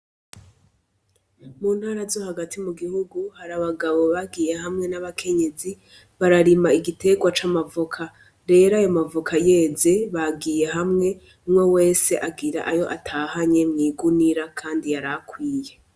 Mu ntara zo hagati mu gihugu Hari abagabo bagiye hamwe n'abakenyezi bararima igiterwa c'amavoka ,rero ayomavoka yeze bagiye hamwe umwe wese agira Ayo atahanye mw'igunira Kandi yarakwiye.